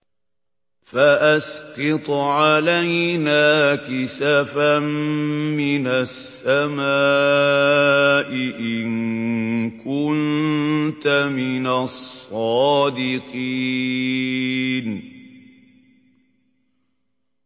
فَأَسْقِطْ عَلَيْنَا كِسَفًا مِّنَ السَّمَاءِ إِن كُنتَ مِنَ الصَّادِقِينَ